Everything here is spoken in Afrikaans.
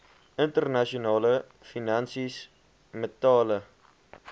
internasionale finansies metale